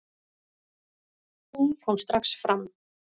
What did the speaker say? Hún kom strax fram.